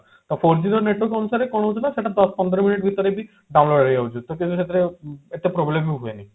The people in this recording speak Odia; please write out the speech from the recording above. ତ four G ର network ଅନୁସାରେ କଣ ହଉଛି ନା ସେଟା ଦଶ ପନ୍ଦର minute ଭିତରେ ବି download ହେଇଯାଉଛି ତ ପୂର୍ବରୁ ସେଥିରେ ଏତେ problem ବି ହୁଏନି